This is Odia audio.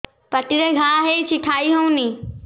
ପାଟିରେ ଘା ହେଇଛି ଖାଇ ହଉନି